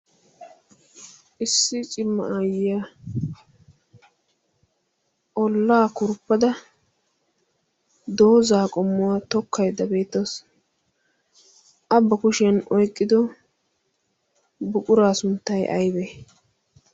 issi cima aayyiyaa ollaa kurppada doozaa qommuwaa tokkaidda beettoos a ba kushiyan oyqqido buquraa sunttay aybee?